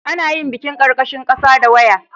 ana iya bin karkashin kasa da waya